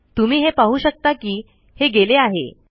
तुम्ही हे पाहू शकता कि हे गेले आहे